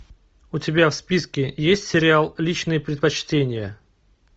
у тебя в списке есть сериал личные предпочтения